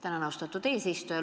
Tänan, austatud eesistuja!